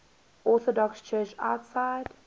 orthodox church outside